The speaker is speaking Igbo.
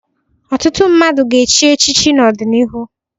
Ọtụtụ mmadụ ga-echi echichi n'ọdịnihu.